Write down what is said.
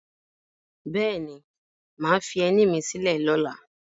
Bẹ́ẹ̀ ni, mà á fi ẹní mi sílẹ̀ lọ́la